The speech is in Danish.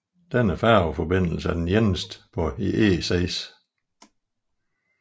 Denne færgeforbindelse er den eneste på E6